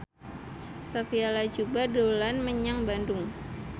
Sophia Latjuba dolan menyang Bandung